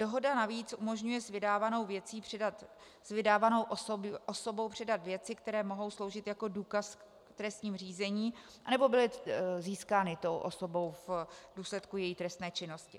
Dohoda navíc umožňuje s vydávanou osobou předat věci, které mohou sloužit jako důkaz v trestním řízení nebo byly získány tou osobou v důsledku její trestné činnosti.